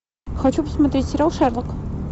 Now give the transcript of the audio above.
хочу посмотреть сериал шерлок